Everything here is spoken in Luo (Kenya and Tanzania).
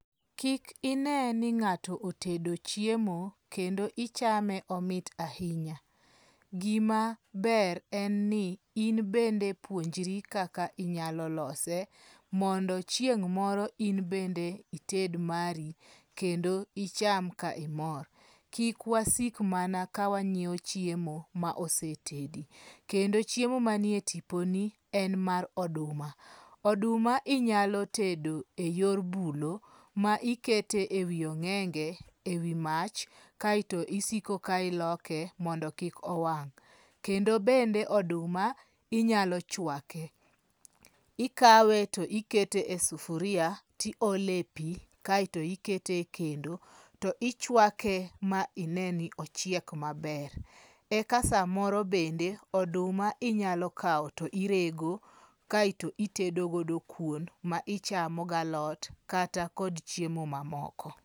Kik ine ni ng'ato otedo chiemo kendo ichame, omit ahinya. Gima ber en ni in bende puonjri kaka inyalo lose mondo chieng' moro in bende ited mari kendo icham ka imor. Kik wasik mana kawanyiewo chiemo ma osetedi. Kendo chiemo manie tiponi en mar oduma. Oduma inyalo tedo eyor bulo, ma ikete ewi ong'enge ewi mach kaeto isiko ka iloke mondo kik owang'. Kendo bende oduma inyalo chwake. Ikawe to ikete e sufuria, tiole pi kaeto ikete e kendo to ichuake ma ine ni ochiek maber. Eka samoro bende,. oduma inyalo kawo to irego kaeto itedo godo kuon ma ichamo galot kata kod chiemo mamoko.